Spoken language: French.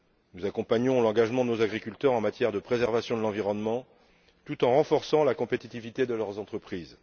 Nous accompagnons l'engagement de nos agriculteurs en matière de préservation de l'environnement tout en renforçant la compétitivité de leurs entreprises.